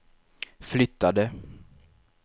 flyttade